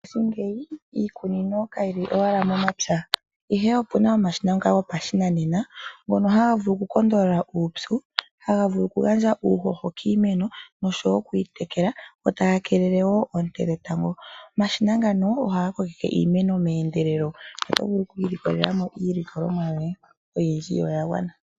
Mongaashingeyi iimeno kayi li owala momapya ashike opu na omashina ngoka gopashinanena ngono haga vulu okukondolola uupyu, haga vulu okugandja uuhoho kiimeno oshowo okuyitekela go taga keelele wo oonte dhetango. Omashina ngano ohaga kokeke iimeno meendelelo oto vulu okwiilikolelamo iilikolomwa yoye oyindji yo oya gwana.